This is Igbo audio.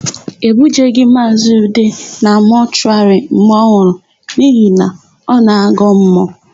E bujeghị Maazị Ude na mọshụwarị mgbe ọ nwụrụ n'ihi na ọ na-agọ mmụọ.